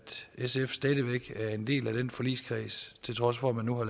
sf stadig væk er en del af den forligskreds til trods for at man nu har